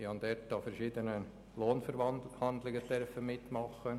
Ich durfte in diesem Rahmen an verschiedenen Wohnverhandlungen mitwirken.